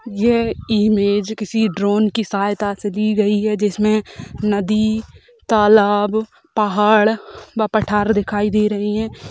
यह इमेज किसी ड्रोन की सहायता से दी गई है जिसमें नदी तालाब पहाड़ व पठार दिखाई दे रही है।